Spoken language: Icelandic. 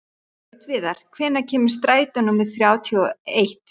Gautviður, hvenær kemur strætó númer þrjátíu og eitt?